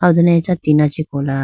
done acha tina chee kola.